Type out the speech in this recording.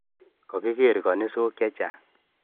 Kakiker kanisok chechang